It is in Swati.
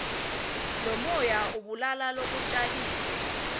lomoya ubulala lokutjaliwe